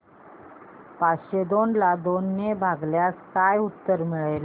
पाचशे दोन ला दोन ने भागल्यास काय उत्तर मिळेल